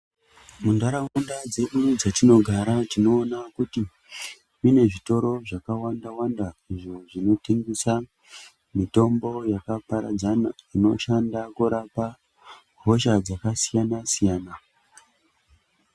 Muntharaunda dzedu dzatinogara tinoona kuti mune zvitoro zvakawanda wanda izvo zvinotengesa mitombo yakaparadzana inoshanda kurapa hosha dzakasiyana siyana.